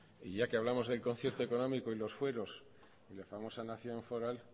y ya que hablamos del concierto económico y los fueros y la famosa nación foral